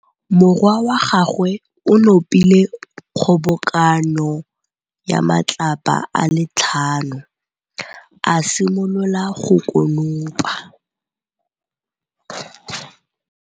Morwa wa gagwe o nopile kgobokanô ya matlapa a le tlhano, a simolola go konopa.